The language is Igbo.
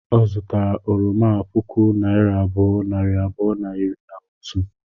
Ọ zụtara oroma a puku naira abụọ, nari abụọ na iri na otu